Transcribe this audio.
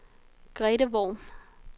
Grethe Worm